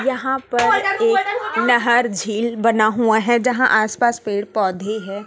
यहां पर एक नहर झील बना हुआ हैं जहां आस पास पेड़ पौधे हैं।